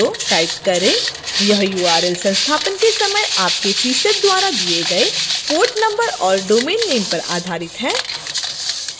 यह url संस्थापन के समय आपके sysad द्वारा दिए गए port number और domain name पर आधारित है